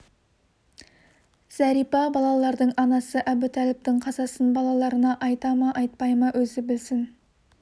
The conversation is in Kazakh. зәрипа балалардың анасы әбутәліптің қазасын балаларына айта ма айтпай ма өзі білсін